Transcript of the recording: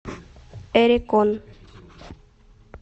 эрекон